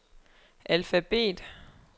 alfabet